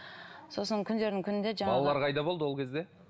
сосын күндердің күнінде балалар қайда болды ол кезде